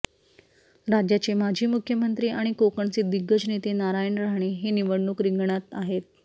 राज्याचे माजी मुख्यमंत्री आणि कोकणचे दिग्गज नेते नारायण राणे हे निवडणूक रिंगणात आहेत